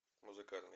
музыкальный